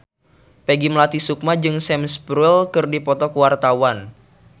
Peggy Melati Sukma jeung Sam Spruell keur dipoto ku wartawan